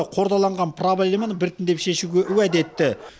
қордаланған проблеманы біртіндеп шешуге уәде етті